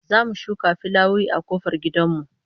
Za mu shuka fulawoyi a kofar gidan mu